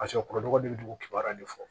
Paseke kurubaga de bɛ dugu kibaruya de fɔ